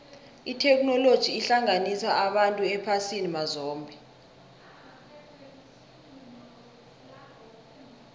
itheknoloji ihlanganisa abantu ephasini mazombe